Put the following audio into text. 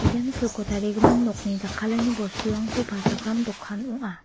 ian silko tarigimin nokni jakkalani bosturangko palchakram dokan ong·a.